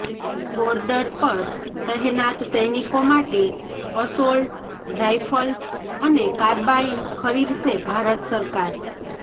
border પર તહેનાત સૈનિકો માટે અસોલ્ટ રાઈફલ્સ અને કાર્બાઈન ખરીદશે ભારત સરકાર